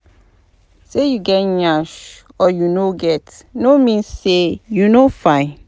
Say you get yansh or you no get no mean say you no fine